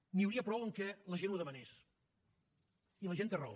n’hi hauria prou que la gent ho demanés i la gent té raó